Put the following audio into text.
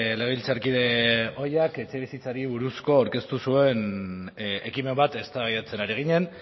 legebiltzarkide ohiak etxebizitzari buruzko aurkeztu zuen ekimen bat eztabaidatzen ari ginen